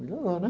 Melhorou, né?